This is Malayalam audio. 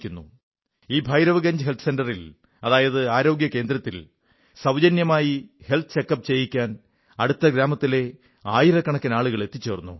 ഈ ഭൈരവ് ഗഞ്ജ് ഹെൽത്ത് സെന്ററിൽ അതായത് ആരോഗ്യകേന്ദ്രത്തിൽ സൌജന്യമായി ഹെൽത്ത് ചെക് അപ് ചെയ്യിക്കാൻ അടുത്ത ഗ്രാമത്തിലെ ആയിരക്കണക്കിന് ആളുകൾ എത്തിച്ചേർന്നു